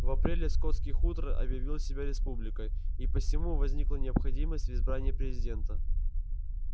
в апреле скотский хутор объявил себя республикой и посему возникла необходимость в избрании президента